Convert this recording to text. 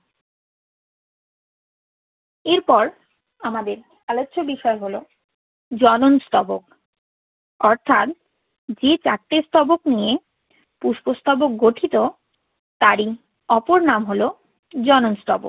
এরপর আমাদের আলোচ্য বিষয় হলো জনন স্তবক অর্থাৎ যে চারটি স্তবক নিয়ে পুষ্প স্তবক গঠিত তারই উপর নাম হলো জনন স্তবক।